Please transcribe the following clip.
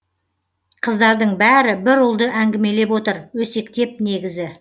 қыздардың бәрі бір ұлды әңгімелеп отыр өсектеп негізі